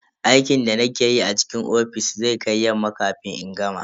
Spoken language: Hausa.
Aikin da nake yi a cikin ofis zai kai yamma kafin in gama.